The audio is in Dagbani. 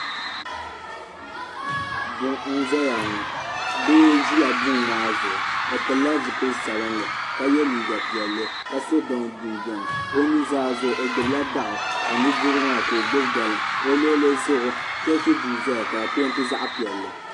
Guŋ nʒɛyaŋɔ doo n ʒi guŋ maa zuɣu ɔ pilila zipili sabinli ka ye liiga piɛli ka sɔ dɔŋ jinjam ɔ nuzaa zuɣu ɔgbubila daɣu ka ɔnudirigu maa ka ɔgbubi galiŋ ɔ luɣilizuɣu cheechi duu zaya ka di pɛɛnti zaɣi piɛli